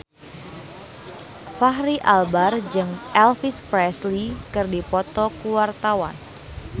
Fachri Albar jeung Elvis Presley keur dipoto ku wartawan